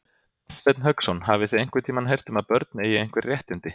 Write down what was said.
Hafsteinn Hauksson: Hafið þið einhvern tímann heyrt um að börn eigi einhver réttindi?